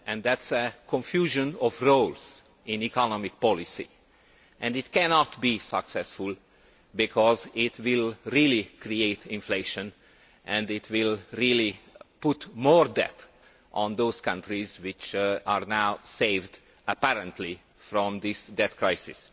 it is a confusion of roads in economic policy, and it cannot be successful because it will really create inflation and it will really put more debt on those countries which are now saved, apparently, from this debt crisis.